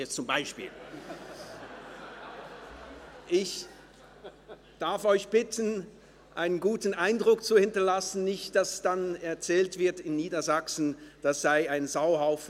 » Ich darf Sie bitten, einen guten Eindruck zu hinterlassen, damit dann nicht in Niedersachsen erzählt wird, in der Schweiz sei es ein Sauhaufen.